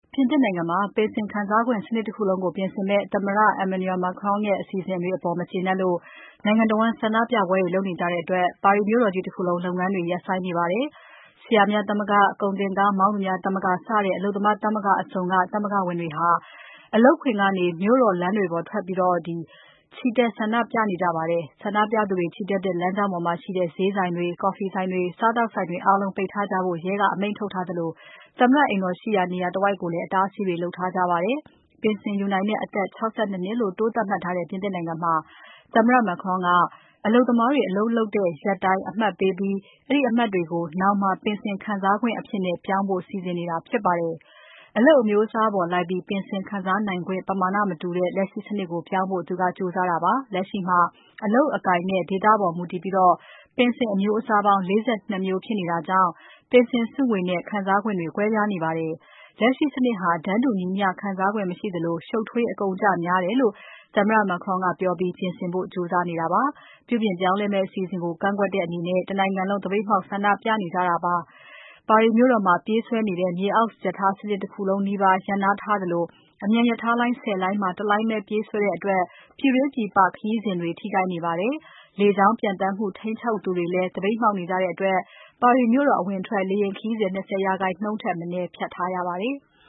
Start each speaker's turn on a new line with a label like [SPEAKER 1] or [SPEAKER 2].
[SPEAKER 1] ပြင်သစ်နိုင်ငံမှာ ပင်စင်ခံစားခွင့်စနစ် တခုလုံးကို ပြင်ဆင်မယ့် သမ္မတ Emmanuel Macron ရဲ့အစီအစဉ်တွေအပေါ် မကျေနပ်လို့ နိုင်ငံတဝန်း ဆန္ဒပြပွဲတွေ လုပ်နေကြတဲ့အတွက် ပါရီမြို့တော်ကြီး တခုလုံး လုပ်ငန်းတွေ ရပ်ဆိုင်းနေပါတယ်။ ဆရာများသမဂ္ဂ၊ ကုန်တင်ကားမောင်းသူများသမဂ္ဂ စတဲ့ အလုပ်သမားသမဂ္ဂအစုံက သမဂ္ဂဝင်တွေဟာ အလုပ်ခွင်ကနေ မြို့တော်လမ်းတွေပေါ်ထွက်ပြီး ချီတက်ဆန္ဒပြနေကြပါတယ်။ ဆန္ဒပြသူတွေ ချီတက်တဲ့လမ်းကြောင်းပေါ်မှာရှိတဲ့ ဈေးဆိုင်တွေ၊ ကော်ဖီဆိုင်တွေ၊ စားသောက်ဆိုင်တွေအားလုံးကို ပိတ်ထားကြဖို့ ရဲက အမိန့်ထုတ်ထားသလို၊ သမ္မတအိမ်တော်ရှိရာနေရာ တဝိုက်ကိုလည်း အတားအဆီးတွေ လုပ်ထားကြပါတယ်။ ပင်စင်ယူနိုင်တဲ့အသက်ကို ၆၂ နှစ်လို့သတ်မှတ်ထားတဲ့ ပြင်သစ်နိုင်ငံမှာ သမ္မတ Macron က အလုပ်သမားတွေ အလုပ်လုပ်တဲ့ ရက်တိုင်းအမှတ်ပေးပြီး အဲဒီအမှတ်တွေကို ပင်စင်ခံစားခွင့်အဖြစ်နဲ့ ပြောင်းဖို့ စီစဉ်နေတာဖြစ်ပါတယ်။ အလုပ်အမျိုးအစားပေါ်လိုက်ပြီး ပင်စင်ခံစားနိုင်ခွင့် ပမာဏမတူတဲ့ လက်ရှိစနစ်ကို ပြောင်းဖို့ကြိုးစားတာပါ။ လက်ရှိမှာ အလုပ်အကိုင်နဲ့ ဒေသပေါ်မူတည်ပြီး ပင်စင်အမျိုးအစား ၄၂ မျိုးဖြစ်နေတာကြောင့် ပင်စင်အမျိုးအစား၊ ပင်စင်စုငွေနဲ့ ခံစားနိုင်ခွင့်ကွဲပြားနေပါတယ်။ လက်ရှိစနစ်ဟာ တန်းတူညီမျှခံစားခွင့် မရှိသလို ရှုပ်ထွေး၊ အကုန်အကျများတယ်လို့ သမ္မတ Macron ကပြောပြီး ပြင်ဆင်ဖို့ ကြိုးစားနေတာပါ။ ပြုပြင်ပြောင်းလဲမယ့် အစီအစဉ်ကိုကန့်ကွက်တဲ့အနေနဲ့ တနိုင်ငံလုံး သပိတ်မှောက်ဆန္ဒပြနေကြတာပါ။ ပါရီမြို့တော်ထဲမှာ ပြေးဆွဲနေတဲ့ မြေအောက်ရထားစနစ်တခုလုံးနီးပါးကို ရပ်နားထားသလို အမြန်ရထားလိုင်း ၁၀ လိုင်းမှာ ၁ လိုင်းပဲ ပြေးဆွဲတဲ့အတွက် ပြည်တွင်း ပြည်ပ ခရီးစဉ်တွေ ထိခိုက်နေပါတယ်။ လေကြောင်းပျံသန်းမှု ထိန်းချုပ်သူတွေလည်း သပိတ်မှောက်နေကြတဲ့အတွက် ပါရီမြို့တော် အဝင်အထွက် လေယာဉ်ခရီး ၂၀ ရာခိုင်နှုန်း ထက်မနည်း ဖျက်ထားရပါတယ်။